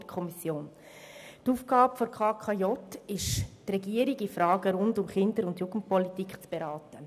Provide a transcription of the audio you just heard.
Die Aufgabe der KKJ besteht darin, die Regierung in Fragen rund um die Kinder- und Jugendpolitik zu beraten.